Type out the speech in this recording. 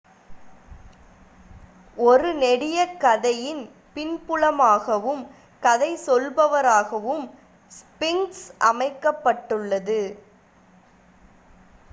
ஒரு நெடியக் கதையின் பின்புலமாகவும் கதை சொல்பவராகவும் ஸ்ஃபின்க்ஸ் அமைக்கப்பட்டுள்ளது